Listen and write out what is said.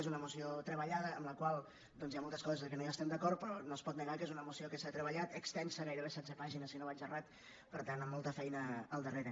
és una moció treballada en la qual doncs hi ha moltes coses que no hi estem d’acord però no es pot negar que és una moció que s’ha treballat extensa gairebé setze pàgines si no vaig errat per tant amb molta feina al darrere